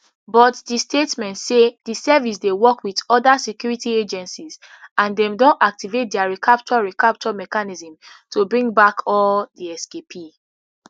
but di statement say di service dey work wit oda security agencies and dem don activate dia recapture recapture mechanism to bring back all di escapee